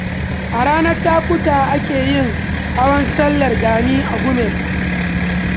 A ranar takutaha ake yin hawan sallar Gani a Gumel